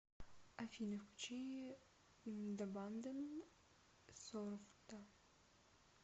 афина включи дабандан сорта